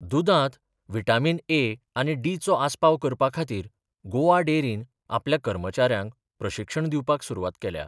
दुदांत vitamin A आनी डीचो आसपाव करपा खातीर गोवा डेरीन आपल्या कर्मचाऱ्यांक प्रशिक्षण दिवपाक सुरवात केल्या.